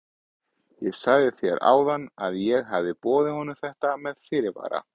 Ég sagði þér áðan að ég hefði boðið honum þetta með fyrirvara.